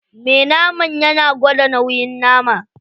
Me naman yana gwada nauyin nama.